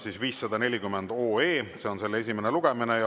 See on selle esimene lugemine.